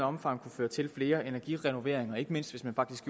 omfang føre til flere energirenoveringer ikke mindst hvis man faktisk